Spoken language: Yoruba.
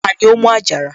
Tani ó mú àjàrà?